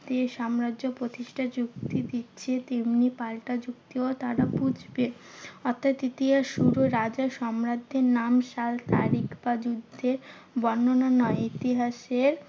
যে সাম্রাজ্য প্রতিষ্ঠার যুক্তি দিচ্ছে তেমনি পাল্টা যুক্তিও তারা বুঝবে। অর্থাৎ ইতিহাস শুরু রাজা সম্রাটদেড় নাম, সাল, তারিখ বা যুদ্ধের বর্ণনা নয়। ইতিহাসের